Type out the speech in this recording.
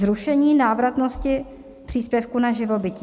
Zrušení návratnosti příspěvku na živobytí.